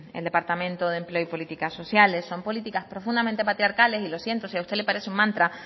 el departamento de empleo y política sociales son políticas profundamente patriarcales y lo siento si a usted le parece un mantra